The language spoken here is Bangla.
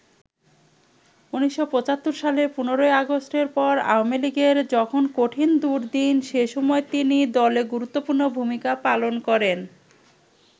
১৯৭৫ সালের ১৫ই আগষ্টের পর আওয়ামী লীগের যখন কঠিন দুর্দিন, সেসময় তিনি দলে গুরুত্বপূর্ণ ভূমিকা পালন করেন।